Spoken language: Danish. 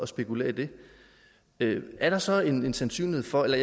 spekulere i det er der så en sandsynlighed for eller